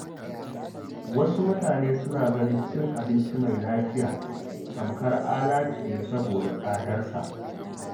Wasu mutane suna ganin cin abinci mai lafiya tamkar alatu ne saboda tsadarsa.